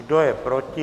Kdo je proti?